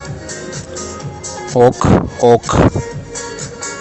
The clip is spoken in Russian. ок ок